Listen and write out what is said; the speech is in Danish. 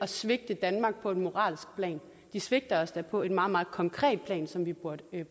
svigter danmark på et moralsk plan de svigter os da på et meget meget konkret plan som vi burde